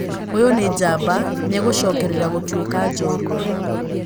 Ũyũ nĩ njamba, nĩegũcokerera gũtuĩka njorua